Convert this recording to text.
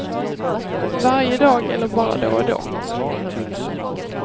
Varje dag eller bara då och då.